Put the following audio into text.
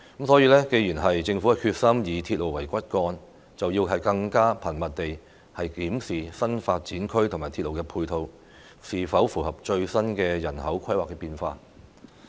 所以，既然政府決心以鐵路為骨幹，更應該頻密地檢視新發展區和鐵路的配套，是否能夠配合最新的人口規劃變化。